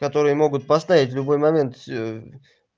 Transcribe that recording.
которые могут поставить в любой момент